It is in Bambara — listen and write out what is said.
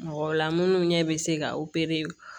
Mɔgɔ la minnu ɲɛ bɛ se ka